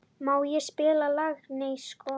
Maj, spilaðu lagið „Nei sko“.